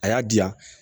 A y'a diyan